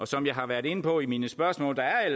som jeg har været inde på i mine spørgsmål er